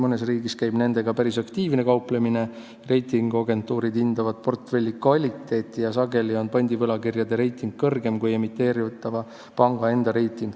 Mõnes riigis käib nendega päris aktiivne kauplemine, reitinguagentuurid hindavad portfelli kvaliteeti ja sageli on pandivõlakirjade reiting kõrgem kui emiteeritava panga enda reiting.